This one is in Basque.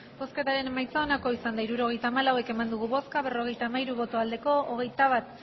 hirurogeita hamalau eman dugu bozka berrogeita hamairu bai hogeita bat